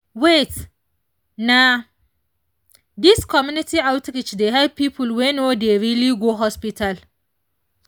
wait — na this community outreach dey help people wey no dey really go hospital.